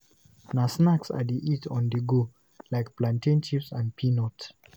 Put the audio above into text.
Na snacks I dey eat on-the-go, like plantain chips and peanuts.